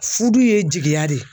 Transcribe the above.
Fudu ye jigiya de ye.